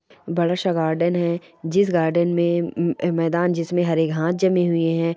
बड़ा -सा गार्डन है जिस गार्डन में मैदान जिसमे हरे घास जमे हुए हैं।